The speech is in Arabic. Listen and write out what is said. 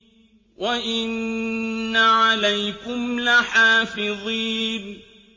وَإِنَّ عَلَيْكُمْ لَحَافِظِينَ